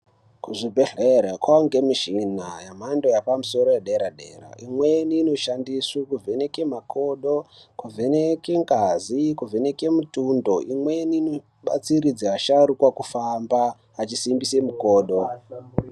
Kuzvibhedhlera kwakuonekwa mishina yemhando yepamusoro yedera dera imweni inoshandiswa kuvheneka makodo kuvheneka ngazi kuvheneka mutundo imwnei inobatsiridza asharukwa kufamba achisimbisa mukodo.